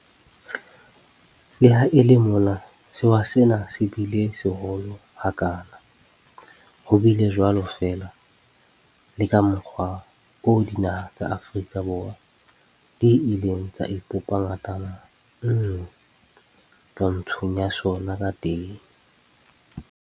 Le ha e le mona sewa sena se bile seholo ha kana, ho bile jwalo fela le ka mokgwa oo dinaha tsa Afrika di ileng tsa ipopa ngatana nngwe twantshong ya sona ka teng.